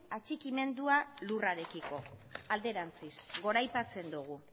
atxikimendua lurrarekiko alderantziz goraipatzen dugu